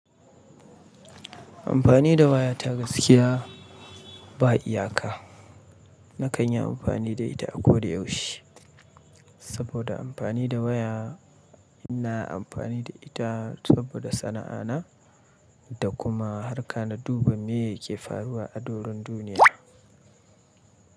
Amfani da waya ta gaskiya ba iyaka. Na kan yi amfani da ita a koda yaushe saboda amfani da waya ina amfani da ita saboda sana'a na da kuma harka na duba me yake faruwa a doron duniya.